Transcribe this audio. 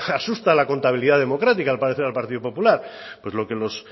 asusta la contabilidad democrática al parecer al partido popular pues lo que los